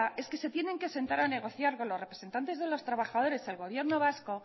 es que se tienen que sentar a negociar con los representantes de los trabajadores del gobierno vasco